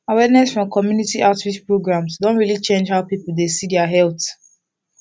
awareness from community outreach programs don really change how people dey see their health